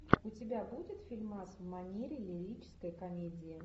у тебя будет фильмас в манере лирической комедии